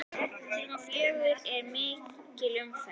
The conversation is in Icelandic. Klukkan fjögur er mikil umferð.